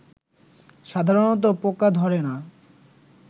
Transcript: সাধারণত পোকা ধরে না